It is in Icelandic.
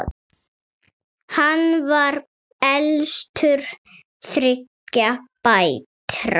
Hann var elstur þriggja bræðra.